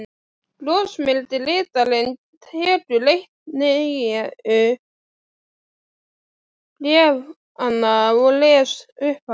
Brosmildi ritarinn tekur eitt nýju bréfanna og les upphátt